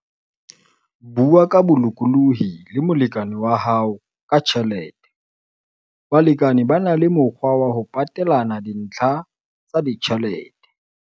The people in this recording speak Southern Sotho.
Bua ka bolokolohi le molekane wa hao ka tjhelete - Balekane ba na le mokgwa wa ho patelana dintlha tsa ditjhelete.